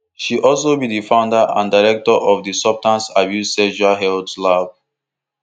she also be di founder and director of di substance abuse sexual health lab